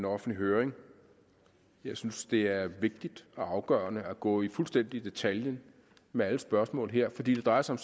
offentlig høring jeg synes det er vigtigt og afgørende at gå fuldstændig i detaljer med alle spørgsmål her fordi det drejer sig